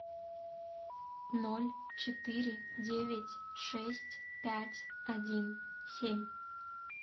ноль четыре девять шесть пять один семь